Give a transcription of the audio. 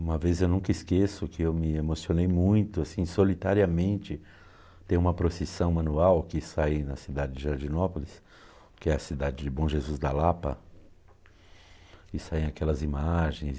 Uma vez eu nunca esqueço que eu me emocionei muito, assim, solitariamente, ter uma procissão manual que sai na cidade de Jardinópolis, que é a cidade de Bom Jesus da Lapa, e saem aquelas imagens.